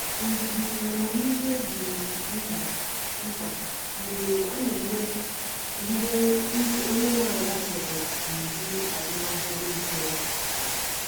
Ndidi na amamihe dị mkpa mkpa mgbe a na-eme ka ihe ndị onye nwe ala chọrọ na iwu azụmahịa dị mfe.